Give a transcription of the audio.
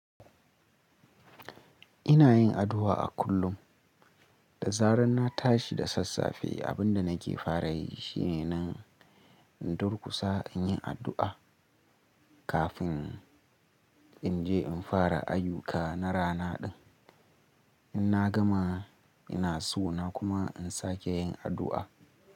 Ina yin addu'a a kullum. Da zaran na tashi da sassafe, abin da nake fara yi shine nan in durkusa in yi addu'a kafin in je in fara ayuka na rana din. In na gama, ina sona kuma in sake yin addu'a.